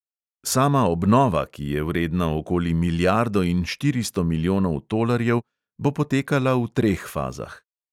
Sama obnova, ki je vredna okoli milijardo in štiristo milijonov tolarjev, bo potekala v treh fazah.